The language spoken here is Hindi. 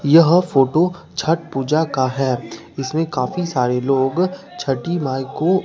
यह फोटो छठ पूजा का है इसमें काफी सारे लोग छठी माई को--